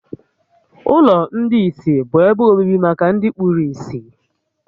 Ụlọ ndị ìsì bụ ebe obibi maka ndị kpuru ìsì